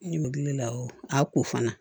Ne bɛ wuli la a ko fana